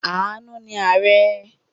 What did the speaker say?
Àánú ni ààrẹ̀.